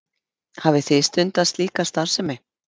Hafið þið stundað slíka starfsemi?